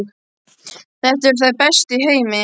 Þetta eru þær bestu í heimi!